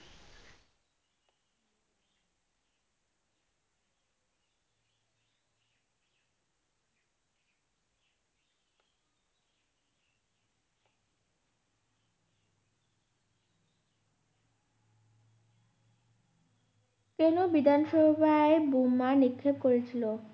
কেন বিধান সভায় বোমা নিক্ষেপ করে ছিল?